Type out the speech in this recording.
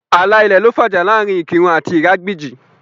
Ààlà ilẹ̀ ló fà ìjà láàrin Ikirun àti Iragbiji